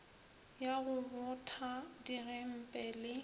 ya go botha digempe le